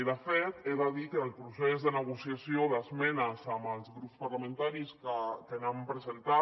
i de fet he de dir que el procés de negociació d’esmenes amb els grups parlamentaris que n’han presentat